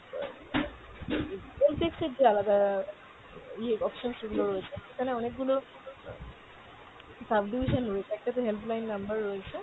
অ্যাঁ help desk এর যে আলাদা ইয়ে option গুলো রয়েছে সেখানে অনেকগুলো, sub division রয়েছে একটাতে help line number রয়েছে